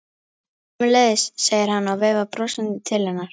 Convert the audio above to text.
Sömuleiðis, segir hann og veifar brosandi til hennar.